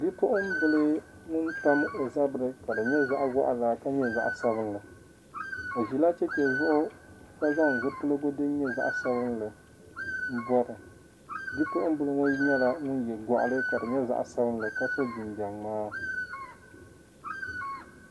Bipuɣin bili ŋun pam ɔ zabiri kadi nyɛ zaɣi ʒɛhi ʒɛhi ka nyɛ zaɣi sabinli, ɔ ʒila cheche zuɣu ka zaŋ zipiligu din nyɛ zaɣi sabinli n bɔbi, bipuɣinbiliŋɔ nyɛla ŋun ye goɣili ka di nyɛ zaɣisabinli ka so jin jam mŋaa